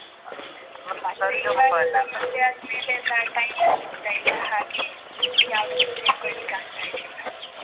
ಮತ್ತೆ ಇವಾಗೆಲ್ಲ ಮದ್ವೆ ಆದ್ ಮೇಲೆಲ್ಲಾ time ಮು ಸಿಗ್ತಾ ಇಲ್ಲಾ, ಹಾಗೆ ಯಾವುದಕ್ಕೂ ಸೇರ್ಕೊಳ್ಲಿಕ್ಕ್ ಅಗ್ತಾ ಇರ್ಲಿಲ್ಲ.